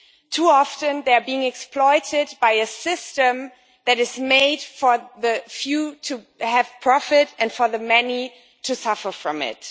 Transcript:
Too often they are being exploited by a system that is made for the few to gain profit and for the many to suffer from it.